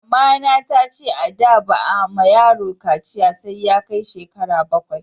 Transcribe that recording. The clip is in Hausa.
Mama na ta ce a da ba a ma yaro kaciya sai Ya kai shekara bakwai